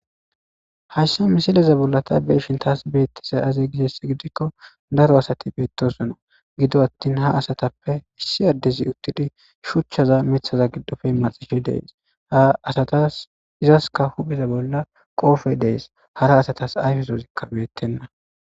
hayssa misileza bolla ta beeshin taas beettese aze gishess gidikko daro asati beettosona gido attin ha asatappe issi addezi uttidi shuchchaza mithaza giddofe maxishe dees ha asatas izaska hupheza bolla qoofe dees hara asatas ayfesozikka beettenna